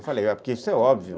Eu falei, porque isso é óbvio.